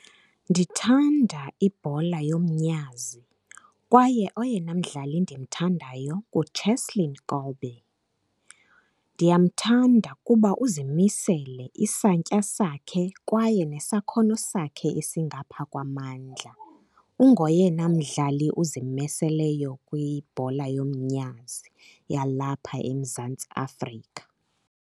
Ndithanda ibhola yomnyazi kwaye oyena mdlali endimthandayo nguCheslin Kolbe. Ndiyamthanda kuba uzimisele, isantya sakhe kwaye nesakhono sakhe esingapha kwamandla. Ungoyena mdlali uzimiseleyo kwibhola yomnyazi yalapha eMzantsi Afrika.